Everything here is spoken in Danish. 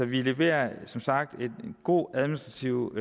vi leverer som sagt god administrativ